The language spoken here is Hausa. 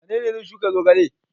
Wane ne zai shuka zogale?